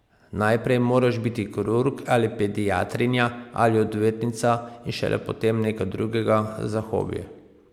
Najprej moraš biti kirurg, ali pediatrinja, ali odvetnica in šele potem nekaj drugega, za hobi.